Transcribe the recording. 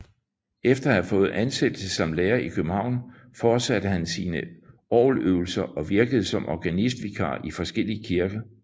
Efter at have fået ansættelse som lærer i København fortsatte han sine orgeløvelser og virkede som organistvikar i forskellige kirker